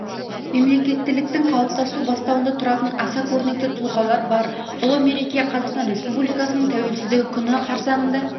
мемлекеттіліктің қалыптасу бастауында тұратын аса көрнекті тұлғалар бар ұлы мереке қазақстан республикасының тәуелсіздігі күні қарсанында